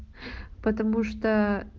потому что